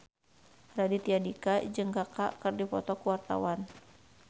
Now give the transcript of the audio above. Raditya Dika jeung Kaka keur dipoto ku wartawan